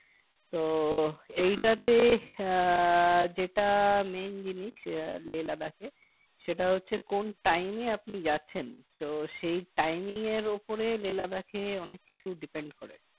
তো এইটাতে আহ যেটা main জিনিস আহ Lehladakh এ সেটা হচ্ছে কোন time এ আপনি যাচ্ছেন তো সেই Timing এর ওপরে Lehladakh এ অনেক কিছু depend করে